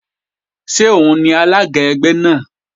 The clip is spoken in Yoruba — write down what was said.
Ṣé òun lalága ẹgbẹ́ náà?